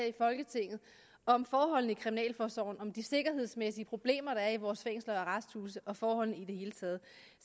i folketinget om forholdene i kriminalforsorgen om de sikkerhedsmæssige problemer der er i vores fængsler og arresthuse og forholdene i det hele taget